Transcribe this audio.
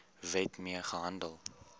wet mee gehandel